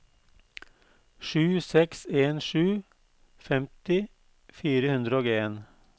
sju seks en sju femti fire hundre og en